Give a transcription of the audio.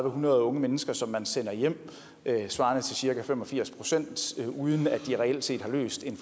hundrede unge mennesker som man sender hjem svarende til cirka fem og firs procent uden at de reelt set har løst en